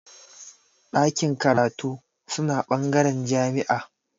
Ɗakin karatu suna bangaren jami'a